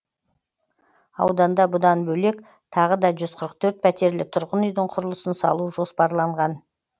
ауданда бұдан бөлек тағы да жүз қырық төрт пәтерлі тұрғын үйдің құрылысын салу жоспарда